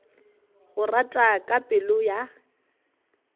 go rata ka pelo ya